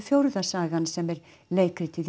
fjórða sagan sem er leikritið í